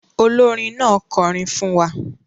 Olórin náà kọrin fún wa.